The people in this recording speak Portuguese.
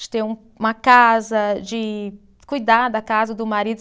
De ter uma casa, de cuidar da casa do marido.